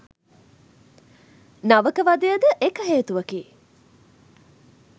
නවක වදයද එක හේතුවකි